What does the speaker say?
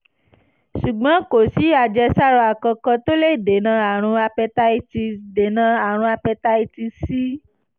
ṣùgbọ́n kò sí àjẹsára kankan tó lè dènà àrùn hepatitis dènà àrùn hepatitis c